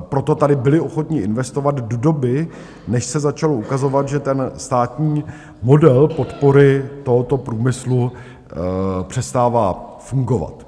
proto tady byli ochotni investovat do doby, než se začalo ukazovat, že ten státní model podpory tohoto průmyslu přestává fungovat.